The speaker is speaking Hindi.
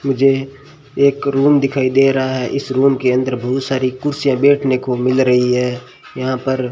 मुझे एक रूम दिखाई दे रहा है इस रूम के अंदर बहुत सारी कुर्सियां बैठने को मिल रही है यहां पर --